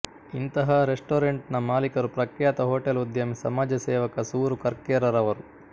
ಇಂತಹ ರೆಸ್ಟೋರೆಂಟ್ ನ ಮಾಲೀಕರು ಪ್ರಖ್ಯಾತ ಹೋಟೆಲ್ ಉದ್ಯಮಿ ಸಮಾಜಸೇವಕ ಸೂರು ಕರ್ಕೇರ ರವರು